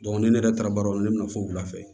ne yɛrɛ taara baarayɔrɔ la ne bɛna fo wula fɛ